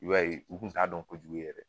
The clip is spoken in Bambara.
I b'a ye u kun t'a dɔn kojugu ye yɛrɛ